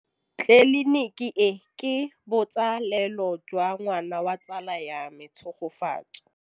Tleliniki e, ke botsalêlô jwa ngwana wa tsala ya me Tshegofatso.